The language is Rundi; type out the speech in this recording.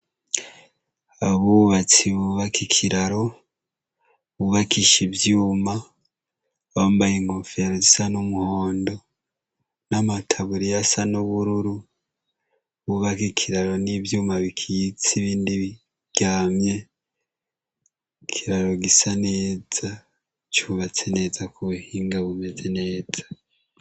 Abubatsi bubaka ikiraro bubakisha ivyuma bambaye ingofero zisa n'umuhondo n'amataburi yasa n'ubururu bubaka ikiraro n'ivyuma bikiyitsa ibindi biryamye kiraro gisa neza cubatse neza ku buhinga bumeze neta.